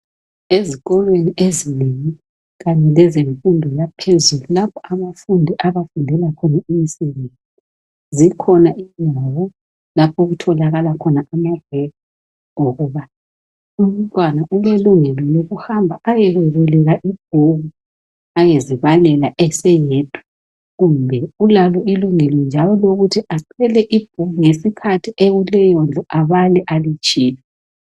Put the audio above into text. Ezikolweni ezinengi kanye lezemfundo yaphezulu lapha abafundi abafundela khona imisebenzi .Zikhona izindawo lapho okutholakala khona amabhuku wokubala umntwana ulelungelo lokuhamba ayekweboleka ibhuku lokuba ayezibakela eseyedwa kumbe ulalo ilungelo njalo elokuthi athole I huku ekuleyo ndlu abale alitshiye.